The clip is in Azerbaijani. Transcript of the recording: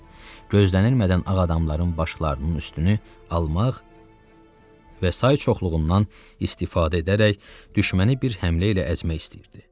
Gözlənilmədən ağadamların başlarının üstünü almaq və say çoxluğundan istifadə edərək düşməni bir həmlə ilə əzmək istəyirdi.